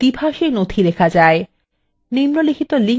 নিম্নলিখিত link এ উপলব্ধ video দেখুন